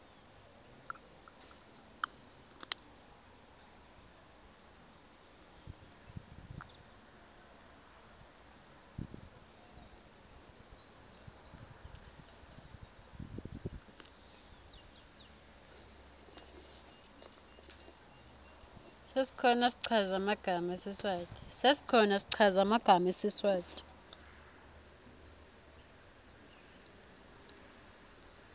sesikhona schaza magama sesiswati